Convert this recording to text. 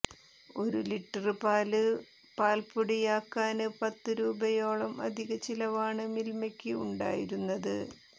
ഒരു ലിറ്റര് പാല് പാല്പൊടിയാക്കാന് പത്ത് രൂപയോളം അധിക ചിലവാണ് മില്മയ്ക്ക് ഉണ്ടായിരുന്നത്